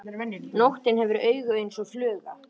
Nóttin hefur augu eins og fluga.